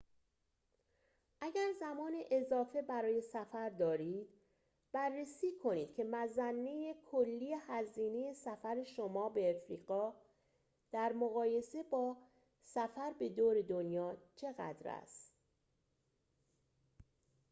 اگر زمان اضافه برای سفر دارید بررسی کنید که مظنه کلی هزینه سفر شما به آفریقا در مقایسه با سفر به دور دنیا چقدر است